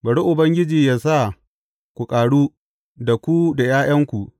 Bari Ubangiji yă sa ku ƙaru, da ku da ’ya’yanku.